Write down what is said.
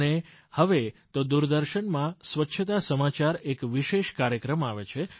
અને હવે તો દૂરદર્શનમાં સ્વચ્છતા સમાચાર એક વિશેષ કાર્યક્રમ આવે છે